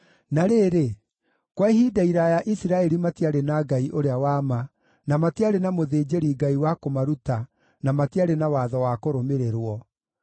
Na rĩrĩ, kwa ihinda iraaya Isiraeli matiarĩ na Ngai ũrĩa wa ma, na matiarĩ na mũthĩnjĩri-Ngai wa kũmaruta na matiarĩ na watho wa kũrũmĩrĩrwo.